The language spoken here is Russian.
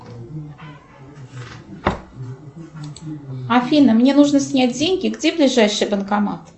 афина мне нужно снять деньги где ближайший банкомат